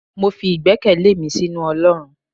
mọ fí igbèkéle mí sinú olorún